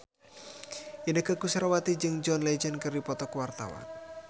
Inneke Koesherawati jeung John Legend keur dipoto ku wartawan